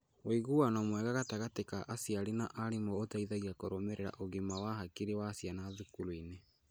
Ũiguano mwega gatagatĩ ka aciari na arimũ ũteithagia kũrũmĩrĩra ũgima wa hakiri wa ciana thukuru-inĩ.